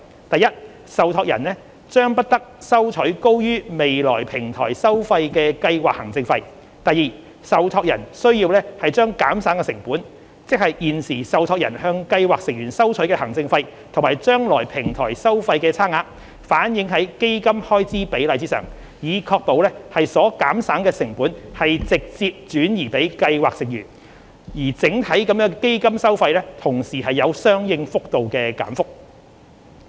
第一，受託人將不得收取高於未來平台收費的計劃行政費；第二，受託人須把減省的成本，即現時受託人向計劃成員收取的行政費與將來平台收費之差額，反映在基金開支比率上，以確保所減省的成本直接轉移予計劃成員，而整體的基金收費同時有相應幅度的減幅。